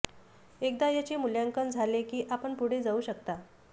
एकदा याचे मूल्यांकन झाले की आपण पुढे जाऊ शकता